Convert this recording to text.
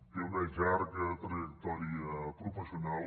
té una llarga trajectòria professional